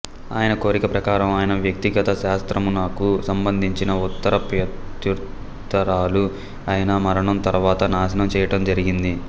ఆయన కోరిక ప్రకారం ఆయన వ్యక్తిగత శాస్త్రమునకు సంబంధించిన ఉత్తర ప్రత్యుత్తరాలు ఆయన మరణం తర్వాత నాశనం చేయటం జరిగింది